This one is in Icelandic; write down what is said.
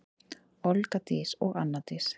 Olga Dís og Anna Dís.